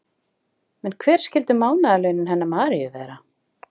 En hver skyldu mánaðarlaunin hennar Maríu vera?